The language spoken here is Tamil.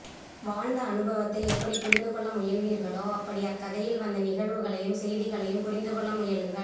வாழ்ந்த அனுபவத்தை எப்படி புரிந்துகொள்ள முயல்வீர்களோ அப்படி அக்கதையில் வந்த நிகழ்வுகளையும் செய்திகளையும் புரிந்துகொள்ள முயலுங்கள்